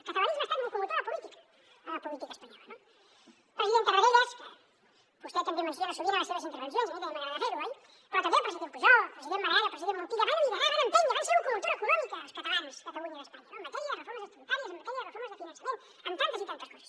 el catalanisme ha estat locomotora política en la política espanyola no el president tarradellas que vostè també menciona sovint a les seves intervencions i a mi també m’agrada fer ho oi però també el president pujol el president maragall el president montilla van liderar van empènyer van ser locomotora econòmica els catalans catalunya a espanya no en matèria de reformes estatutàries en matèria de reformes de finançament amb tantes i tantes coses